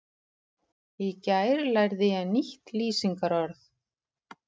Í gær lærði ég nýtt lýsingarorð.